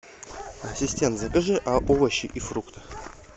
ассистент закажи а овощи и фрукты